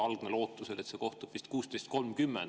Algne lootus vist oli, et ta kohtub 16.30.